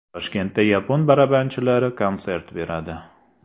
Toshkentda yapon barabanchilari konsert beradi.